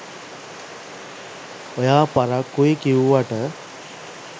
ඔයා පරක්කුයි කිව්වට